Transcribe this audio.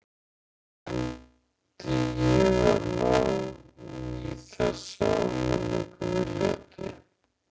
Reyndi ég að ná í þessa áminningu viljandi?